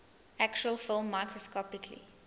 actual film microscopically